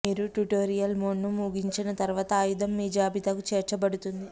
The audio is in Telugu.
మీరు ట్యుటోరియల్ మోడ్ను ముగించిన తర్వాత ఆయుధం మీ జాబితాకు చేర్చబడుతుంది